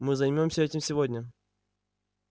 мы займёмся этим сегодня